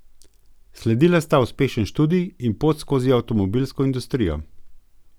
Sledila sta uspešen študij in pot skozi avtomobilsko industrijo.